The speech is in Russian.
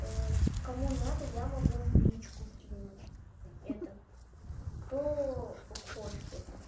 кому надо я могу в личку кинуть это кто хочет это